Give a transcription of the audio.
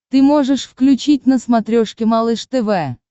ты можешь включить на смотрешке малыш тв